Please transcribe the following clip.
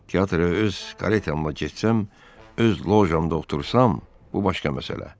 "Teatra öz karetamla getsəm, öz lojamda otursam, bu başqa məsələ.